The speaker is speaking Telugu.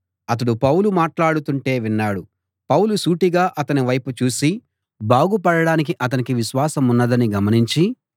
అతడు పౌలు మాటలాడుతుంటే విన్నాడు పౌలు సూటిగా అతని వైపు చూసి బాగుపడడానికి అతనికి విశ్వాసమున్నదని గమనించి